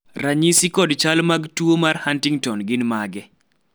ranyisi kod chal mag tuo mar Huntington gin mage?